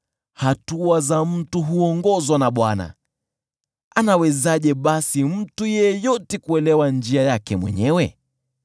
Hatua za mtu huongozwa na Bwana . Anawezaje basi mtu yeyote kuelewa njia yake mwenyewe?